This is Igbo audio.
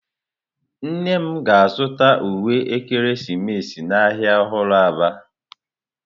Nnem ga-azuta uwe ekeresimesi n'ahịa ọhụrụ Aba.